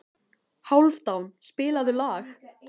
Hálfdán, spilaðu lag.